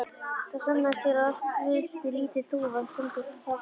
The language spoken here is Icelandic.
Það sannaðist hér að oft veltir lítil þúfa þungu hlassi.